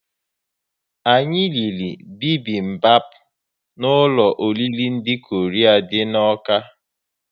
Anyị riri bibimbap n'ụlọ oriri ndị Korea dị n'Awka